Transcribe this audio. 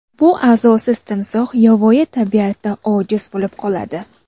Bu a’zosiz timsoh yovvoyi tabiatda ojiz bo‘lib qoladi.